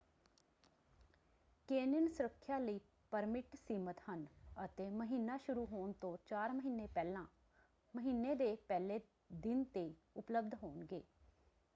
Canyon ਸੁਰੱਖਿਆ ਲਈ permit ਸੀਮਤ ਹਨ ਅਤੇ ਮਹੀਨਾ ਸ਼ੁਰੂ ਹੋਣ ਤੋਂ ਚਾਰ ਮਹੀਨੇ ਪਹਿਲਾਂ ਮਹੀਨੇ ਦੇ ਪਹਿਲੇ ਦਿਨ ‘ਤੇ ਉਪਲਬਧ ਹੋਣਗੇ।